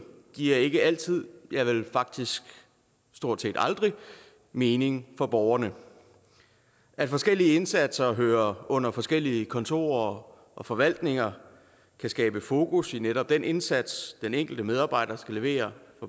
giver ikke altid ja vel faktisk stort set aldrig mening for borgerne at forskellige indsatser hører under forskellige kontorer og forvaltninger kan skabe fokus i netop den indsats den enkelt medarbejder skal levere